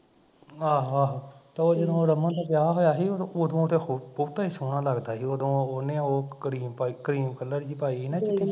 ਆਹੋ ਆਹੋ ਤੇ ਉਹ ਜਿਹਨੂੰ ਰਮਨ ਦਾ ਵਿਆਹ ਹੋਇਆ ਸੀ ਤੇ ਉਦੋਂ ਤੇ ਉਹ ਬਹੁਤਾ ਈ ਸੋਹਣਾ ਲੱਗਦਾ ਸੀ ਉਦੋਂ ਉਦੋਂ ਉਹਨੇ ਉਹ ਕਰੀਮ ਕਰੀਮ color ਜਹੀ ਪਾਈ ਸੀ ਨਾ ਚਿੱਟੀ ਜਹੀ